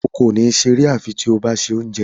Iwọ kò ní ṣeré tabi ti o ba lọ se oúnjẹ.